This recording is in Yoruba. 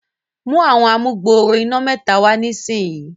mú Àwọn amugbooro iná mẹta wá nísìsiyìí.